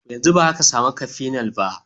Yanzu ba za ka sami cafenol ba.